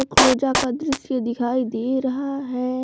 का दृश्य दिखाई दे रहा है।